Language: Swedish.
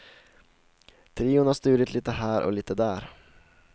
Trion har stulit lite här och lite där.